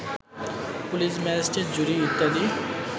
পুলিস-ম্যাজিস্ট্রট-জুরী-ইত্যাদি